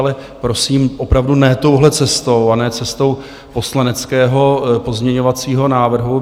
Ale prosím, opravdu ne touhle cestou a ne cestou poslaneckého pozměňovacího návrhu.